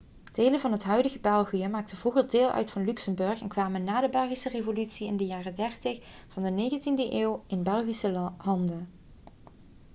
delen van het huidige belgië maakten vroeger deel uit van luxemburg en kwamen na de belgische revolutie in de jaren 30 van de 19e eeuw in belgische handen